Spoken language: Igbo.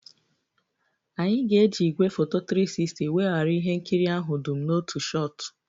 Anyị ga-eji igwefoto 360 weghara ihe nkiri ahụ dum n'otu shot